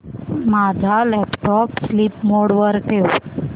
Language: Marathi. माझा लॅपटॉप स्लीप मोड वर ठेव